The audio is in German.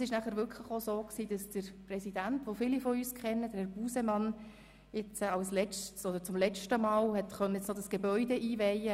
So konnte denn der Präsident, Herr Busemann, den viele von uns kennen, als eine seiner letzten Amtshandlungen diese Gebäude einweihen.